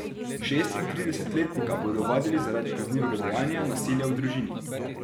Šestintridesetletnika bodo ovadili zaradi kaznivega dejanja nasilja v družini.